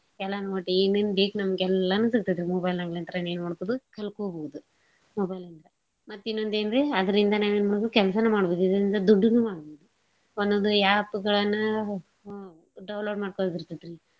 ಎಲ್ಲಾನೂ ಒಟ್ಟ ಏನೇನ್ ಬೇಕ್ ನಮ್ಗ ಎಲ್ಲಾನೂ ಸಿಗ್ತೇತ್ರಿ mobile ಲಾಗಿಂತ್ರ ಎನ್ ಮಾಡ್ಬೋದು ಕಲ್ಕೋಬೋದು mobile ಇಂದ. ಮತ್ ಇನ್ನೋಂದ ಏನ್ರೀ ಅದ್ರಿಂದ ನಾವ್ ಎನ್ಮಾಡ್ಬೋದ್ರಿ ಕೆಲ್ಸಾನೂ ಮಾಡ್ಬೋದ್ ಇದ್ರಿಂದ ದುಡ್ಡನೂ ಮಾಡ್ಬೋದ್. ಒಂದೊಂದ್ app ಗಳನ್ನ download ಮಾಡ್ಕೋಳೊದ್ ಇರ್ತೇತ್ ರಿ.